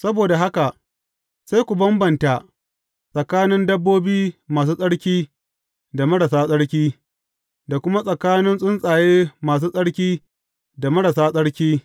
Saboda haka sai ku bambanta tsakanin dabbobi masu tsarki da marasa tsarki, da kuma tsakanin tsuntsaye masu tsarki da marasa tsarki.